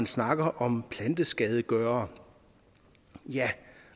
snakker om planteskadegørere ja